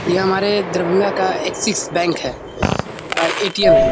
ये हमारे दरभंगा का एक्सिस बैंक है अ ए.टी.एम. है।